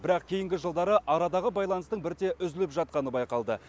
бірақ кейінгі жылдары арадағы байланыстың бірте үзіліп жатқаны байқалды